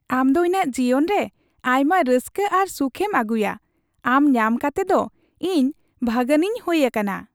ᱟᱢ ᱫᱚ ᱤᱧᱟᱜ ᱡᱤᱭᱚᱱ ᱨᱮ ᱟᱭᱢᱟ ᱨᱟᱹᱥᱠᱟᱹ ᱟᱨ ᱥᱩᱠᱷᱮᱢ ᱟᱹᱜᱩᱭᱟ ᱾ ᱟᱢ ᱧᱟᱢ ᱠᱟᱛᱮᱫ ᱤᱧ ᱵᱷᱟᱹᱜᱟᱱᱤᱧ ᱦᱩᱭ ᱟᱠᱟᱱᱟ ᱾